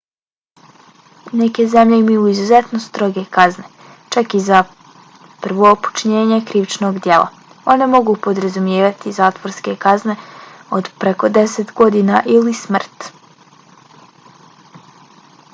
neke zemlje imaju izuzetno stroge kazne čak i za prvo počinjenje krivičnog djela. one mogu podrazumijevati zatvorske kazne od preko 10 godina ili smrt